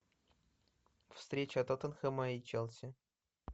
встреча тоттенхэма и челси